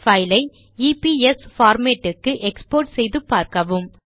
file ஐ EPS format க்கு export செய்து பார்க்கவும்